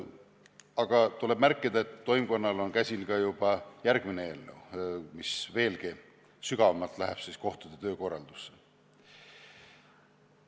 Aga tuleb märkida, et toimkonnal on käsil juba järgmine eelnõu, mis veelgi sügavamalt kohtute töökorraldust puudutab.